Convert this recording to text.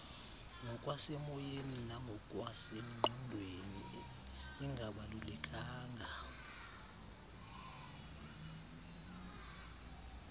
ngokwasemoyeni nangokwasengqondweni ingabalulekanga